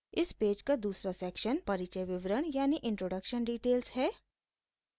इस पेज पर दूसरा सेक्शन परिचय विवरण introduction details है